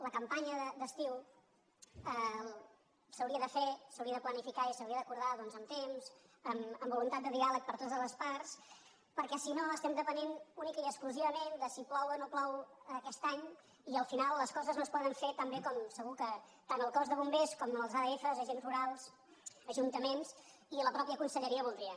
la campanya d’estiu s’hauria de fer s’hauria de planificar i s’hauria d’acordar doncs amb temps amb voluntat de diàleg per totes les parts perquè si no estem depenent únicament i exclusivament de si plou o no plou aquest any i al final les coses no es poden fer tan bé com segur que tant el cos de bombers com els adf els agents rurals els ajuntaments i la mateixa conselleria voldrien